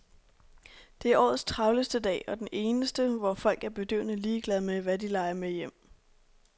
Det er årets travleste dag og den eneste, hvor folk er bedøvende ligeglade med, hvad de lejer med hjem.